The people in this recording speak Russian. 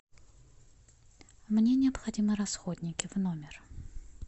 мне необходимы расходники в номер